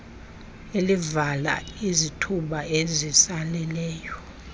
elivala izithuba ezisaleleyo